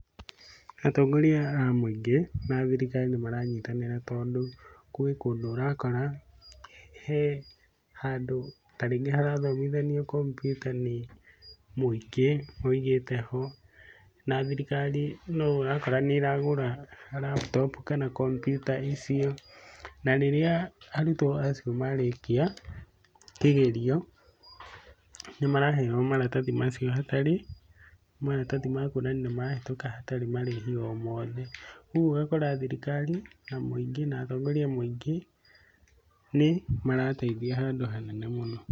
Atongoria a mũingĩ na thirikari nĩ maranyitanĩra tondũ gwĩ kũndũ urakora, he handũ tarĩngĩ harathomithanio kompiuta nĩ mũingĩ wigĩte ho. Na thirikari no ũrakora nĩ ĩragũra laptop kana kompiuta icio. Na rĩrĩa arutwo acio marĩkia kĩgerio, nĩ maraheo maratathi macio hatarĩ maratathi makuonania nĩ mahĩtũka hatarĩ marĩhi o mothe. Ũguo ũgakora thirikari na muingĩ na atongoria a mũingĩ nĩ marateithia handũ ha nene mũno.